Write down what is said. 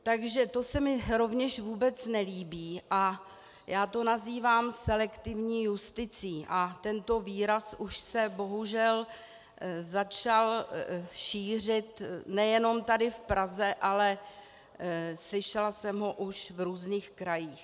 Takže to se mi rovněž vůbec nelíbí a já to nazývám selektivní justicí a tento výraz už se bohužel začal šířit nejenom tady v Praze, ale slyšela jsem ho už v různých krajích.